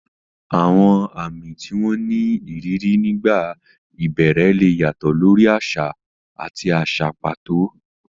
Àwọn àmì tí wọ́n ní ìrírí nígbà ìbẹ̀rẹ̀ lè yàtọ̀ lórí àṣà àti àṣà pàtó.